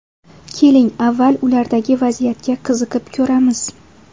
Keling, avval, ulardagi vaziyatga qiziqib ko‘ramiz.